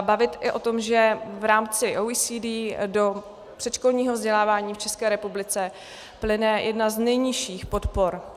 bavit i o tom, že v rámci OECD do předškolního vzdělávání v České republice plyne jedna z nejnižších podpor.